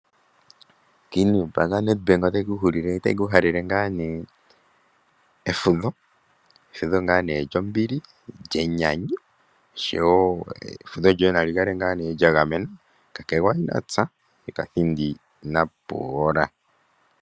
Ombaanga yaNedBank otayi ku halele ngaa nee efudho. Efudho lyombili, lyenyanyu oshowo efudho lyoye nali kale ngaa nee lya gamenwa kakegwa ina tsa yekathindi ina pundula.